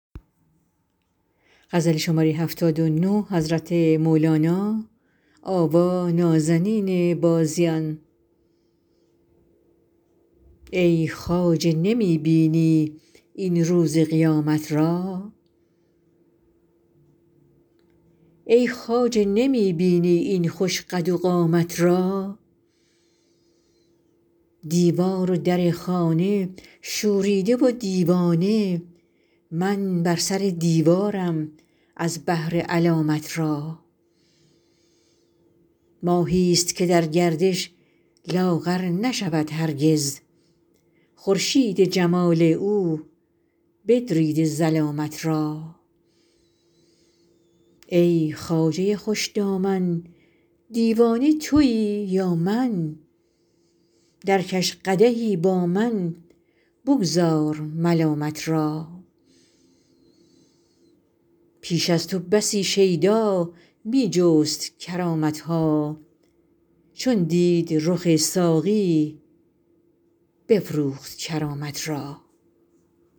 ای خواجه نمی بینی این روز قیامت را ای خواجه نمی بینی این خوش قد و قامت را دیوار و در خانه شوریده و دیوانه من بر سر دیوارم از بهر علامت را ماهیست که در گردش لاغر نشود هرگز خورشید جمال او بدریده ظلامت را ای خواجه خوش دامن دیوانه توی یا من درکش قدحی با من بگذار ملامت را پیش از تو بسی شیدا می جست کرامت ها چون دید رخ ساقی بفروخت کرامت را